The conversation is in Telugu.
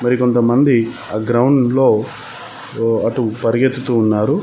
మరి కొంతమంది ఆ గ్రౌండ్ లో అటు పరిగెత్తుతు ఉన్నారు.